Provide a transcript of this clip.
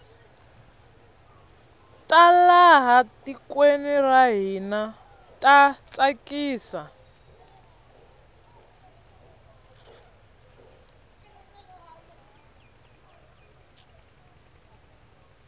ta laha tikweni ra hina ta tsakisa